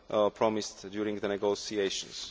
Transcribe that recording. promised during the negotiations.